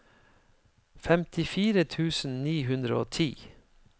femtifire tusen ni hundre og ti